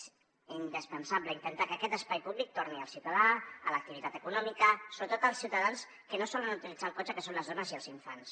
és indispensable intentar que aquest espai públic torni al ciutadà a l’activitat econòmica sobretot als ciutadans que no solen utilitzar el cotxe que són les dones i els infants